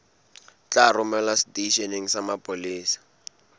tla romelwa seteisheneng sa mapolesa